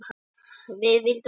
Við vildum komast í úrslitin.